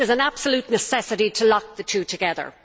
There is an absolute necessity to lock the two together.